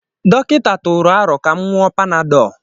Dọkịta tụrụ aro ka m ṅụọ panadol